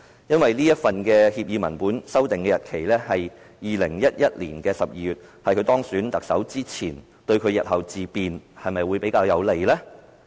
因為這份協議文本的簽訂日期是2011年12月，是在他當選特首之前，對他日後自辯會否比較有利？